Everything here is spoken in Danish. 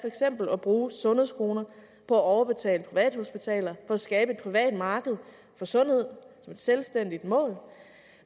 eksempel at bruge sundhedskroner på at overbetale privathospitaler for at skabe et privat marked for sundhed som et selvstændigt mål